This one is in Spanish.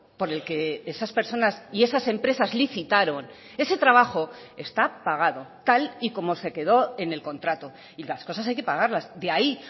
por el que esas personas y esas empresas licitaron ese trabajo está pagado tal y como se quedó en el contrato y las cosas hay que pagarlas de ahí